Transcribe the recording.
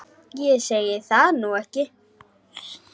Ég segi það nú ekki.